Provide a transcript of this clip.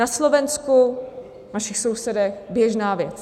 Na Slovensku, u našich sousedů, běžná věc.